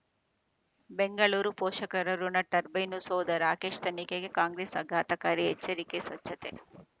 ಬೆಂಗಳೂರು ಪೋಷಕರಋಣ ಟರ್ಬೈನು ಸೌಧ ರಾಕೇಶ್ ತನಿಖೆಗೆ ಕಾಂಗ್ರೆಸ್ ಆಘಾತಕಾರಿ ಎಚ್ಚರಿಕೆ ಸ್ವಚ್ಛತೆ